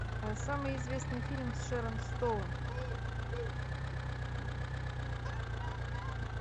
самый известный фильм с шэрон стоун